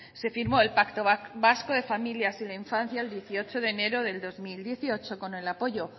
se firmó el pacto vasco de familias y la infancia el dieciocho de enero del dos mil dieciocho con el apoyo